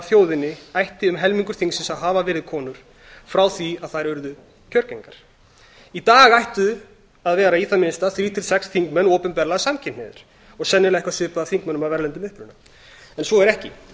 þjóðinni ætti um helmingur þingsins að hafa verið konur frá því þær urðu kjörgengar í dag ættu að vera í það minnsta þrír til sex þingmenn opinberlega samkynhneigðir og sennilega eitthvað svipað þingmönnum af erlendum uppruna en svo er ekki